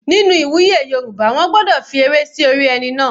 Nínú ìwúyè Yorùbá wọ́n gbọ́dọ̀ fi ewé sí orí ẹni náà.